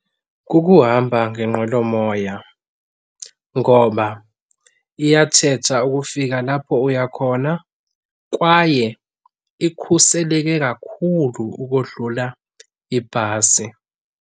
Kukuhamba ngenqwelomoya ngoba iyatshetsha ukufika lapho uya khona kwaye ikhuseleke kakhulu ukodlula ibhasi.